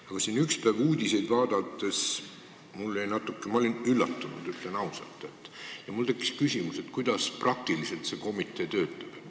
Aga ükspäev uudiseid vaadates ma olin üllatunud, ütlen ausalt, ja mul tekkis küsimus, kuidas see komitee praktiliselt töötab.